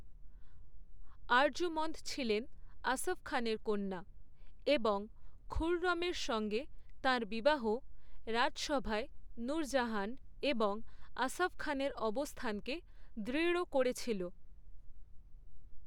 আরজুমন্দ ছিলেন আসফ খানের কন্যা এবং খুর্‌রমের সঙ্গে তাঁর বিবাহ রাজসভায় নূরজাহান এবং আসফ খানের অবস্থানকে দৃঢ় করেছিল।